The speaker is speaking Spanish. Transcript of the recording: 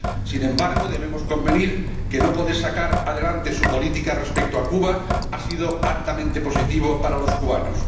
Sin embargo, debemos convenir en que no poder sacar adelante su política respecto a Cuba ha sido altamente positivo para los cubanos.